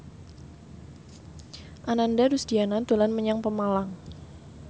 Ananda Rusdiana dolan menyang Pemalang